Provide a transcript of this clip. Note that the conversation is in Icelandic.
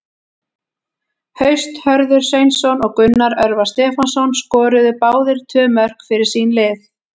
Haust Hörður Sveinsson og Gunnar Örvar Stefánsson skoruðu báðir tvö mörk fyrir sín lið.